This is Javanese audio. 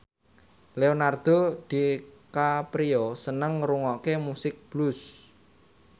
Leonardo DiCaprio seneng ngrungokne musik blues